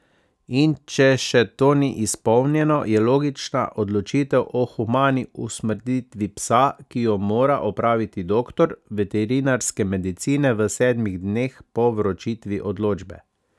In če še to ni izpolnjeno, je logična odločitev o humani usmrtitvi psa, ki jo mora opraviti doktor veterinarske medicine v sedmih dneh po vročitvi odločbe.